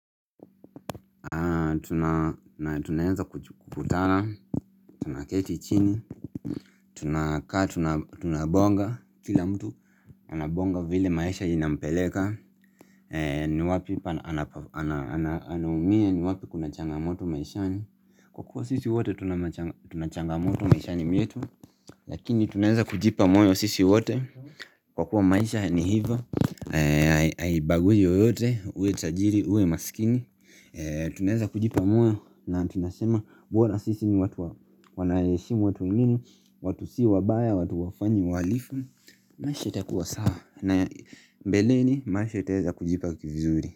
Na tunaenza kukutana, tunaketi chini, tunabonga, kila mtu anabonga vile maisha inampeleka ni wapi anaumia ni wapi kunachanga moto maishani Kwa kuwa sisi wote tunachangamoto maishani metu Lakini tunaenza kujipa moyo sisi wote Kwa kuwa maisha ni hivyo, ayibaguji oyote, uwe tajiri, uwe masikini Tuneza kujipa moyo na tunasema bora sisi ni watu wanayeshimu watu wengine watu si wabaya, watu hawafanyi, walifu Maish itakuwa sawa na mbeleni maisha itaweza kujipa kifizuri.